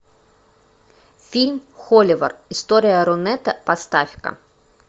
фильм холивар история рунета поставь ка